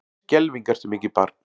Skelfing ertu mikið barn.